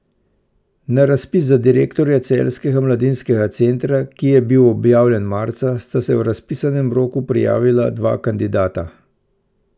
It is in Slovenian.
Na razpis za direktorja Celjskega mladinskega centra, ki je bil objavljen marca, sta se v razpisanem roku prijavila dva kandidata.